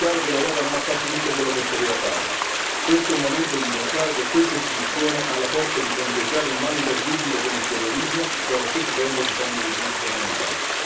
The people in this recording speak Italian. È chiaro che l'Europa non ha fatto tutto quello che poteva fare, questo è il momento di dimostrare che quest'istituzione ha la forza di fronteggiare un male terribile come il terrorismo e, allo stesso tempo, difendere i diritti fondamentali.